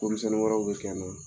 Ko misɛnnin wɛrɛw bɛ kɛ yen nɔ